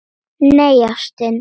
Nei, ástin.